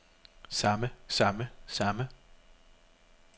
samme samme samme